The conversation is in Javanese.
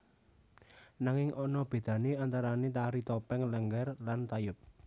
Nanging ana bedane antarane Tari Topeng Lénggér lan Tayub